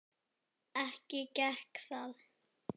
Ekki gekk það.